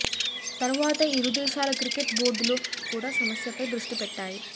తర్వాత ఇరు దేశాల క్రికెట్ బోర్డులు కూడా సమస్యపై దృష్టి పెట్టాయి